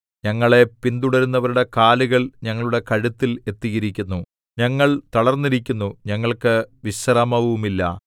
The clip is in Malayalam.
ഞങ്ങളെ പിന്തുടരുന്നവരുടെ കാലുകൾ ഞങ്ങളുടെ കഴുത്തിൽ എത്തിയിരിക്കുന്നു ഞങ്ങൾ തളർന്നിരിക്കുന്നു ഞങ്ങൾക്ക് വിശ്രാമവുമില്ല